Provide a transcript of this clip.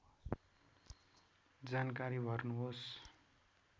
जानकारी भर्नुहोस्